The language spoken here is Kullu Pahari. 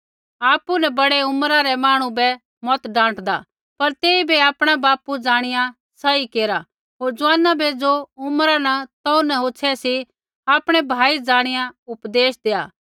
आपु न बड़ै उम्रा रै मांहणु बै मत डाँटदा पर तेइबै आपणा बापू ज़ाणिया सही केरा होर ज़ुआना बै ज़ो उम्रा न तौ न होछ़ै सी आपणा भाई ज़ाणिया उपदेश देआ